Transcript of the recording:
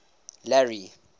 larry